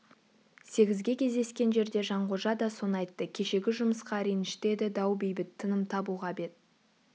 сегізге кездескен жерде жанқожа да соны айтты кешегі жұмысқа ренішті еді дау бейбіт тыным табуға бет